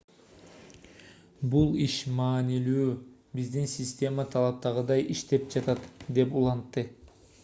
бул иш маанилүү биздин система талаптагыдай иштеп жатат - деп улантты